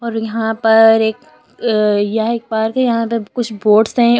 और यहां पर एक यह एक पार्क है यहां पर कुछ बोर्ड्स है और--